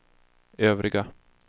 övriga